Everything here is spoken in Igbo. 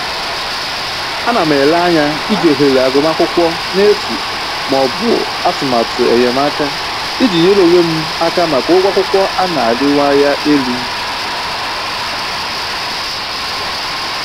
Ana m ele anya iji ohere agụmakwụkwọ n'efu maọbụ atụmatụ enyemaka iji nyere onwe m aka maka ụgwọ akwụkwọ a na-arịwanye elu